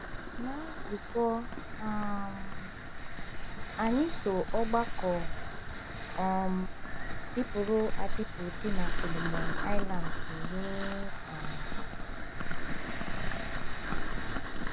Ná nzukọ um anyị so ọgbakọ um dịpụrụ adịpụ dị na Solomon Islands nwee um